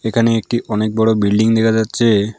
এখানে একটি অনেক বড় বিল্ডিং দেখা যাচ্ছে।